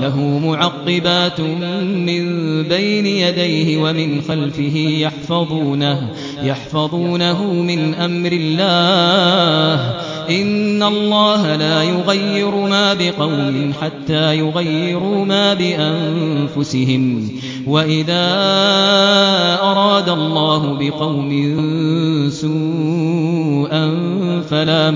لَهُ مُعَقِّبَاتٌ مِّن بَيْنِ يَدَيْهِ وَمِنْ خَلْفِهِ يَحْفَظُونَهُ مِنْ أَمْرِ اللَّهِ ۗ إِنَّ اللَّهَ لَا يُغَيِّرُ مَا بِقَوْمٍ حَتَّىٰ يُغَيِّرُوا مَا بِأَنفُسِهِمْ ۗ وَإِذَا أَرَادَ اللَّهُ بِقَوْمٍ سُوءًا فَلَا